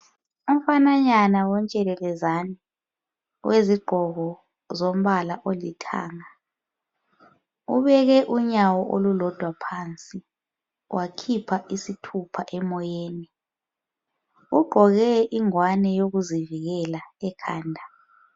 Umfana nyane wentshekelezane wezigqoko zombala olithanga ubeke unyawo olulodwa phansi wakhipha isithupha emoyeni ugqoke ingwane yokuzivikela ekhanda.